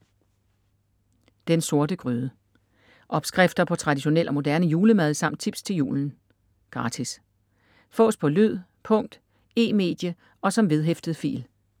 Den Sorte Gryde Opskrifter på traditionel og moderne julemad samt tips til julen. Gratis. Fås på lyd, punkt, e-medie og som vedhæftet fil